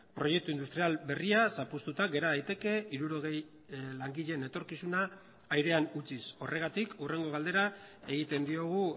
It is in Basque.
proiektu industrial berria zapuztuta gera daiteke hirurogei langileen etorkizuna airean utziz horregatik hurrengo galdera egiten diogu